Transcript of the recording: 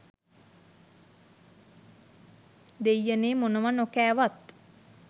දෙයියනේ මොනව නොකෑවත්